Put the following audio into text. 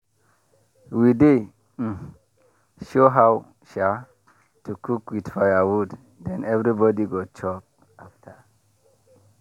we dey um show how um to cook with firewood then everybody go chop after.